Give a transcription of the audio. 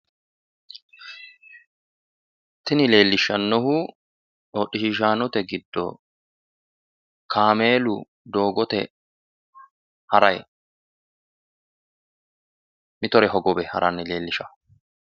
Tini leellishshannohu hodhishiishaanote giddo kaameelu doogote harayi mitore hogowe harayi leellishanno.